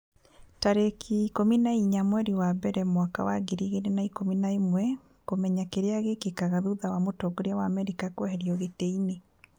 tarĩki ikũmi na inya mweri wa mbere mwaka wa ngiri igĩrĩ na ikũmi na ĩmweKũmenya kĩrĩa gĩkĩkaga thutha wa mũtongoria wa Amerika kũeherio gĩtĩ-inĩ